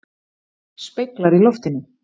Speglar í loftinu.